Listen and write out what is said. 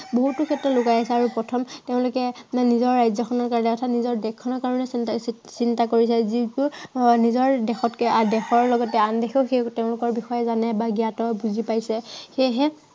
বহুতো জাতি লুকাই আছে আৰু প্ৰথম তেওঁলোকে নিজৰ ৰাজ্য়খনৰ কাৰনে অৰ্থাত নিজৰ দেশখনৰ কাৰনে চিন্তা কৰি লয়। যিটো আহ নিজৰ দেশতকে, নিজৰ দেশৰ লগতে আন দেশেও সেই তেওঁলোকৰ বিষয়ে জানে বা জ্ঞাত, বুজি পাইছে। সেয়েহে